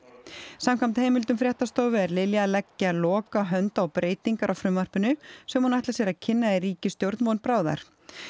samkvæmt heimildum fréttastofu er Lilja að leggja lokahönd á breytingar á frumvarpinu sem hún ætlar sér að kynna í ríkisstjórn von bráðar